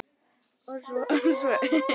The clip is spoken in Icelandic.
Og svo söng hún með.